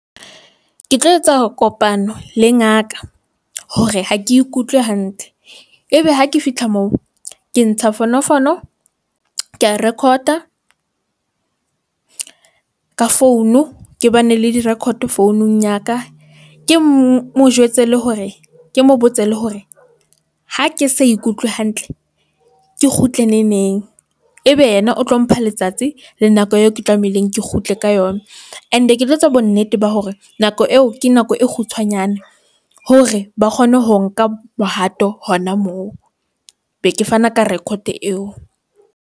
Ke tlo etsa kopano le ngaka hore ha ke ikutlwe hantle ebe ha ke fihla moo ke ntsha fonofono ke a record-a ka founu, ke ba ne le di- record founung ya ka. Ke mo jwetse le hore ke mo botse le hore ha ke sa ikutlwe hantle, ke kgutle ne neng ebe yena o tlo mpha letsatsi. Le nako eo ke tlamehileng ke kgutle ka yona. And e ke tlo etsa bo nnete ba hore nako eo ke nako e kgutshwanyane hore ba kgone ho nka bohato hona moo be ke fana ka record eo.